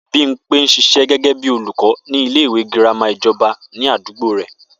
Bímpé ń s̩is̩é̩ gé̩gé̩ bí olùkó̩ ní ilé ìwé girama ìjo̩ba ní àdúgbò rè̩